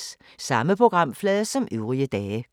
Samme programflade som øvrige dage